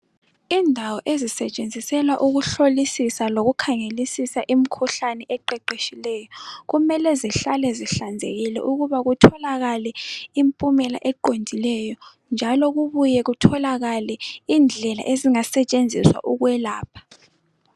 Indawo ezisetshenziselwa ukuhlolisisa lokukhangelisisa imikhuhlane eqeqetshileyo kumele zihlale zihlanzekile ukuba kutholakale impumela eqondileyo njalo kubuye kutholakale indlela ezingasetshenziswa ukwelapha.